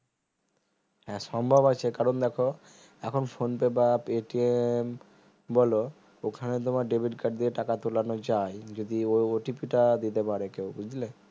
হ্যাঁ সম্ভম আছে কারণ দেখো এখন phone pay বা paytm বলো ওখানে তোমার debit card দিয়ে টাকা তোলানো যায় যদি ওই OTP টা দিতে পারে কেউ বুজলে